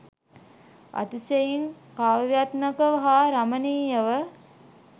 අතිශයින් කාව්‍යාත්මකව හා රමණීයව,